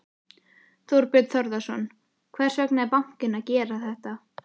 Þorbjörn Þórðarson: Hvers vegna er bankinn að gera þetta?